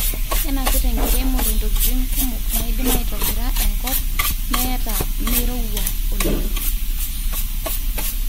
kenapita enkiremore ntokitin kumok naidim aitabira enkop meeta meirowua oleng